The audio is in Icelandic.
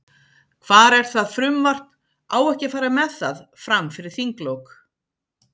Hvar er það frumvarp, á ekki að fara með það, fram fyrir þinglok?